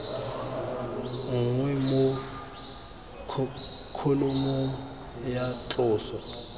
nngwe mo kholomong ya tloso